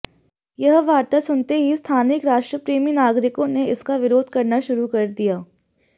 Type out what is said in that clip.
यह वार्ता सुनते ही स्थानिक राष्ट्रप्रेमी नागरिकों ने इसका विरोध करना शुरु किया है